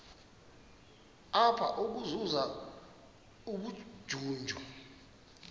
apha ukuzuza ubujuju